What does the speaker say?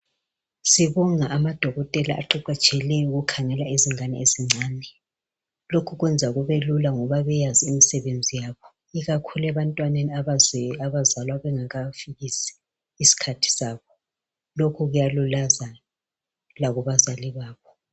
Sibonga amadokotela aqeqetshileyo ukuķhangela izingane ezincane. Lokhu kuyenza kube lula ngoba beyazi imisebenzi yabo ikakhulu ebantwaneni abazalwa bengakafikisi isikhathi sabo. Lokhu kuyalulaza lakubazali babo.